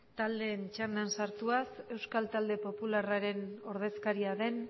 taldeen txandan sartuz euskal talde popularraren ordezkaria den